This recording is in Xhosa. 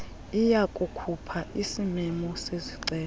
iyakukhupha isimemo sezicelo